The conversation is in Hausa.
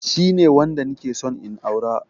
Shine wanda nike son in aura